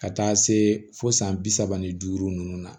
Ka taa se fo san bi saba ni duuru nunnu na